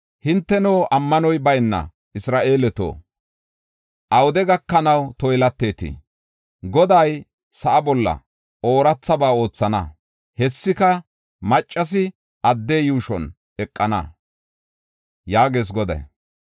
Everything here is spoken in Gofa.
Hinteno, ammanoy bayna Isra7eeleto, awude gakanaw toylatetii? Goday sa7a bolla oorathaba oothana; hessika maccasi adde yuushon eqana” yaagees Goday.